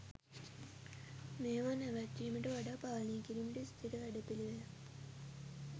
මේවා නැවත්වීමට වඩා පාලනය කිරීමට ස්ථීර වැඩපිළිවෙළක්